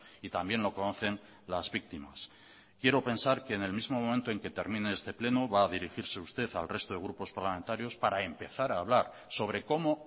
y también lo conocen las víctimas quiero pensar que en el mismo momento en que termine este pleno va a dirigirse usted al resto de grupos parlamentarios para empezar a hablar sobre cómo